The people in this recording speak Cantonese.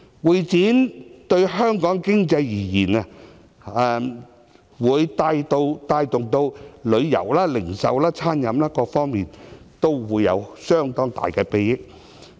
會展業對香港經濟而言，能帶動旅遊、零售、餐飲各行業，從而帶來相當大的裨益。